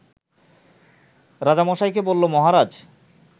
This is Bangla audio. রাজামশাইকে বলল মহারাজ